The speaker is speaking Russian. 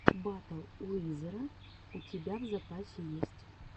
батл уизера у тебя в запасе есть